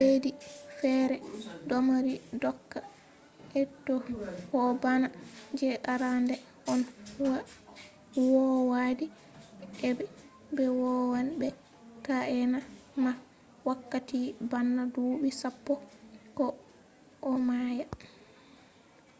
leddiji fere domari doka draconian eitoh ko bana je arande on owadi aibe; be wawan be taena mah wakkati bana dubi sappo ko a maya